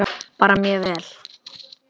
Bara mjög vel.